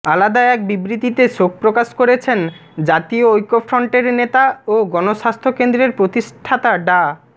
আলাদা এক বিবৃতিতে শোক প্রকাশ করেছেন জাতীয় ঐক্যফ্রন্টের নেতা ও গণস্বাস্থ্য কেন্দ্রের প্রতিষ্ঠাতা ডা